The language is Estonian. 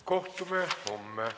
Istungi lõpp kell 16.34.